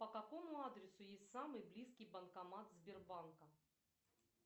по какому адресу есть самый близкий банкомат сбербанка